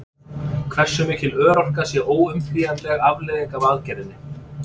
Hversu mikil örorka sé óumflýjanleg afleiðing af aðgerðinni?